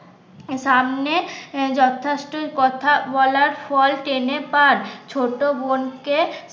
সামনে যথেষ্টই কথা বলার ফল টেনে পান ছোট বোনকে